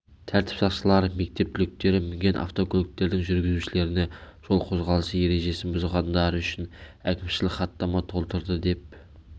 тәртіп сақшылары мектеп түлектері мінген автокөліктердің жүргізушілеріне жол қозғалысы ережесін бұзғандары үшін әкімшілік хаттама толтырды деп